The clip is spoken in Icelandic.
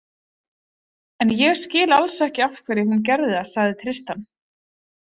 En ég skil alls ekki af hverju hún gerði það, sagði Tristan.